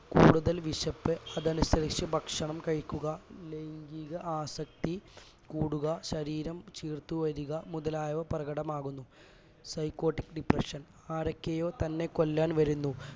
കൂടുതൽ വിശപ്പ് അതനുസരിച്ച് ഭക്ഷണം കഴിക്കുക ലൈംഗിക ആസക്തി കൂടുക ശരീരം ചീർത്തു വരിക മുതലായവ പ്രകടമാവുന്നു psychotic depression ആരൊക്കെയോ തന്നെ കൊല്ലാൻ വരുന്നു